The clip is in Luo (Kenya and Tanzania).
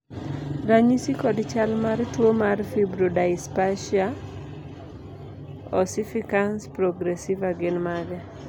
ranyisi kod chal mar tuo mar Fibrodysplasia ossificans progressiva gin mage?